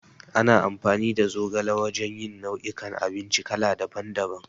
Ana amfani da zogala wajan yin nau'i kan abinci kala daban daban